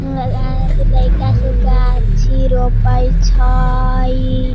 इ लइका सब गाछी रोपई छई।